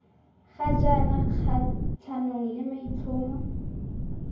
ga jaanong kgatlhanong le maitlhomo